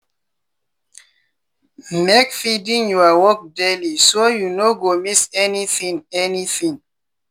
make feeding your work daily so you no go miss anything. anything.